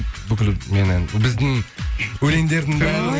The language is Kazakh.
бүкіл менің біздің өлеңдердің бәрі